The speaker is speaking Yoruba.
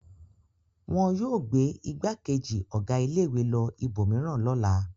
Wọn yóò gbé ìgbákejì ọ̀gá ilé-ìwé lọ ibòmíràn lọ́la.